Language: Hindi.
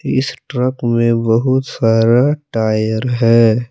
इस ट्रक में बहुत सारा टायर है।